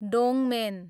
डोङमेन